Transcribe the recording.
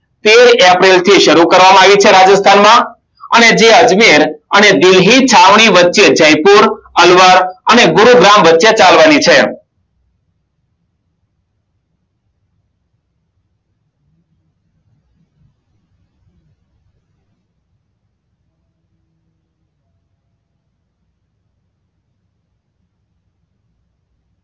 તેર એપ્રિલથી સારું કરવામાં વી છે રાજસ્થાનમાં અને તે અજમેર અને દિલ્હી ની વચ્ચે જયપુર અને ગુરુગ્રમ વચ્ચે ચાલવાની છે